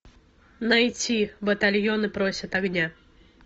найти батальоны просят огня